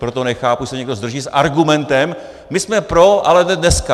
Proto nechápu, když se někdo zdrží s argumentem "my jsme pro, ale ne dneska".